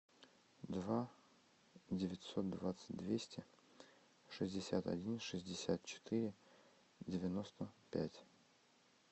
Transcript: два девятьсот двадцать двести шестьдесят один шестьдесят четыре девяносто пять